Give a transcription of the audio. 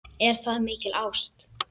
Er það mikil ást?